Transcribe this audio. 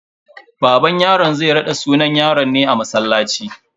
Baban yaron zai raɗa sunan yaron ne a masallaci.